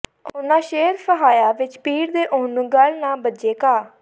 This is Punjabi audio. ਉਨ੍ਹਾਂ ਸ਼ੇਰ ਫਹਾਈਆ ਵਿਚ ਪਿੜ ਦੇ ਉਹਨੂੰ ਗੱਲ ਨਾ ਬੱਝੇ ਕਾ